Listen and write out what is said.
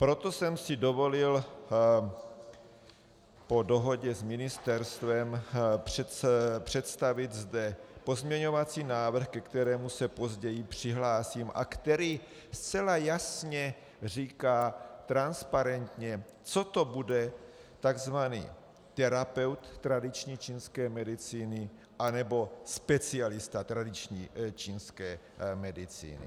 Proto jsem si dovolil po dohodě s ministerstvem představit zde pozměňovací návrh, ke kterému se později přihlásím a který zcela jasně říká transparentně, co to bude tzv. terapeut tradiční čínské medicíny anebo specialista tradiční čínské medicíny.